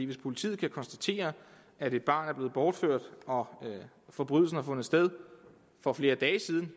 hvis politiet kan konstatere at et barn er blevet bortført og forbrydelsen har fundet sted for flere dage siden